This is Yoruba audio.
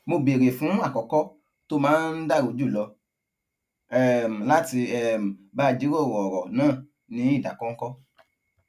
mo béèrè fún àkókò tó máa dára jùlọ um láti um bá a jíròrò òrò náà ní ìdákóńkó